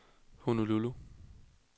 Honolulu